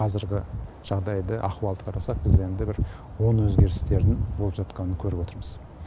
қазіргі жағдайды ахуалды қарасақ біз енді бір оң өзгерістерін болып жатқанын көріп отырмыз